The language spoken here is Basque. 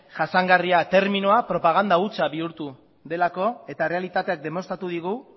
jasangarria terminoa propaganda hutsa bihurtu delako eta errealitateak demostratu digu